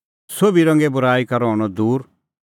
सोभी रंगे बूराई का रहणअ दूर